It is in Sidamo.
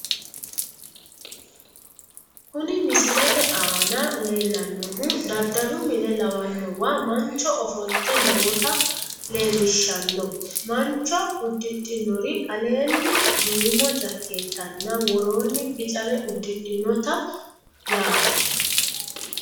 kuni misilete aana leellannohu daddalu mine lawannowa mancho ofolte noota leellishshanno mancho uddidhinori aleenni duumo jakkeettanna woroonno bicare uddidhinote yaate.